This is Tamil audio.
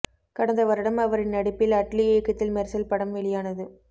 கடந்த வருடம் அவரின் நடிப்பில் அட்லி இயக்கத்தில் மெர்சல் படம் வெளியானது